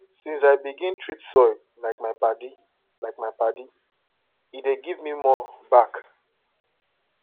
since i begin treat soil like my padi like my padi e dey give me more back